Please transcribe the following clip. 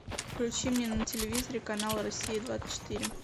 включи мне на телевизоре канал россия двадцать четыре